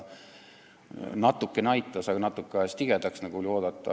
Natukene aitas, aga natuke ajas tigedaks, nagu oli oodata.